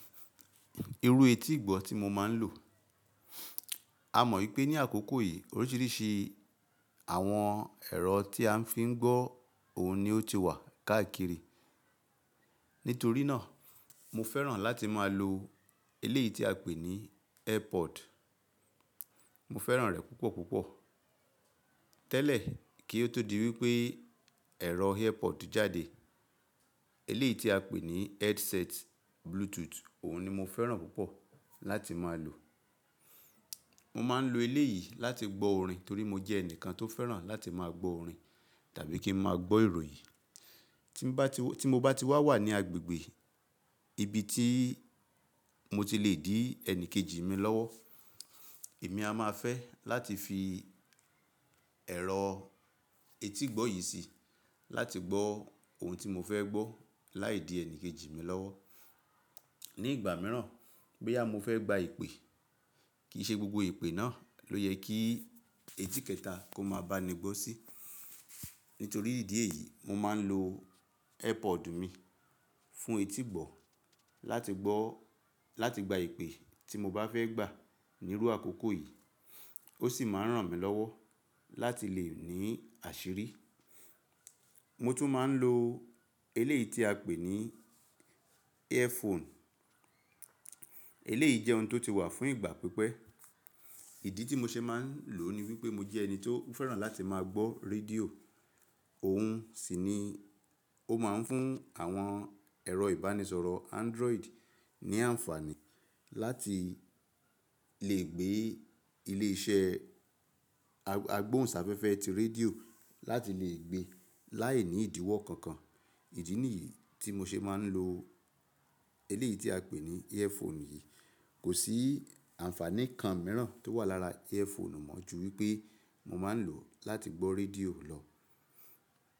Irú etí ìgbọ́ tí mo máa ń lò. A mọ̀ wípé ní àkókò yìí oríṣiríṣi àwọn ẹ̀rọ tí a ń fi ń gbọ́ ohùn ni ó ti wà káàkiri. Nítorí náà, mo fẹ́ràn láti máa lo eléyìí tí a pè ní Airpod. Mo fẹ́ràn rẹ̀ púpọ̀ púpọ̀. Tẹ́lẹ̀ kí ó tó di wípé ẹ̀rọ Airpod jáde, eléyìí tí a pè ní headset Bluetooth òun ni mo fẹ́ràn púpọ̀ láti máa lò. Mo máa ń lo eléyìí láti gbọ́ orin torí mo jẹ́ ẹnìkan tó fẹ́ràn láti máa gbọ́ orin tàbí kí ń máa gbọ́ ìròyìn. Tí mo bá ti wà ní agbègbè ibi tí mo ti le dí ẹni kejì mi lọ́wọ́, èmi a máa fẹ́ láti fi ẹ̀rọ etí ìgbọ́ yìí sí láti gbọ́ ohun tí mo fẹ́ gbọ́ láìdí ẹni kejì mi lọ́wọ́. Ni ìgbà mìíràn, bóyá mo fẹ́ gba ìpè, kì í ṣe gbogbo ìpè náà ló yẹ kí etí kẹta kó máa bá ni gbọ́ sí. Nítorí ìdí èyí, mo máa ń lo Airpod mi fún etí ìgbọ́ láti gbọ́, láti gba ìpè tí mo bá fẹ́ gbà nírú àkókò yìí. Ó sì máa ń ràn mí lọ́wọ́ láti lè ní àṣírí. Mo tún máa ń lo eléyìí tí a pè ní earphone. Eléyìí jẹ́ ohun tó ti wà fún ìgbà pípẹ́. Ìdí tí mo ṣe máa ń lò ó ni wípé mo jẹ́ ẹni tí ó fẹ́ràn láti máa gbọ́ rédíò. Òun sì ni ó máa ń fún àwọn ẹ̀rọ ìbánisọ̀rọ̀ Android ní àǹfààní láti lè gbé ilé iṣẹ́ agbóhùnsáfẹ́fẹ́ ti rédíò láti lè gbé láìní ìdíwọ́ kankan. Ìdí nìyí tí mo ṣe máa ń lo eléyìí tí a pè ní earphone yìí. Kò sí àǹfààní kan míràn tó wà lára earphone mọ̀ ju wípé mo máa ń lò ó láti gbọ́ rédíò lọ.